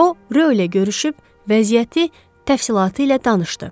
O Ro ilə görüşüb vəziyyəti təfsilatı ilə danışdı.